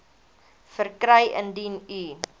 verkry indien u